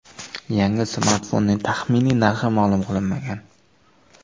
Yangi smartfonning taxminiy narxi ma’lum qilinmagan.